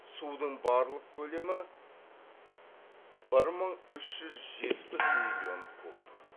судың барлық көлемі бір мың үш жүз жетпіс миллион куб